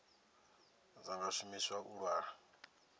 dza nga shumiswa u lwa